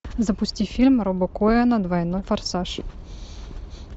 запусти фильм роба коэна двойной форсаж